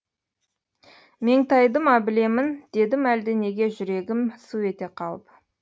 меңтайды ма білемін дедім әлде неге жүрегім су ете қалып